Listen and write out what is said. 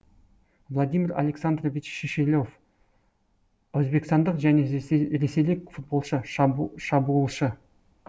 владимир александрович шишелов өзбекстандық және ресейлік футболшы шабуылшы